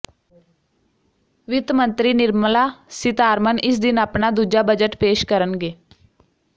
ਵਿੱਤ ਮੰਤਰੀ ਨਿਰਮਲਾ ਸੀਤਾਰਮਨ ਇਸ ਦਿਨ ਆਪਣਾ ਦੂਜਾ ਬਜਟ ਪੇਸ਼ ਕਰਨਗੇ